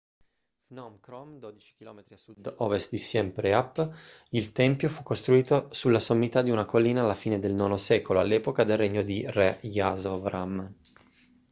phnom krom 12 km a sud-ovest di siem reap il tempio fu costruito sulla sommità di una collina alla fine del ix secolo all'epoca del regno di re yasovarman